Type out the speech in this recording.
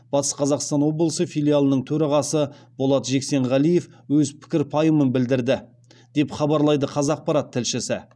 батыс қазақстан облысы филиалының төрағасы болат жексенғалиев өз пікір пайымын білдірді деп хабарлайды қазақпарат тілшісі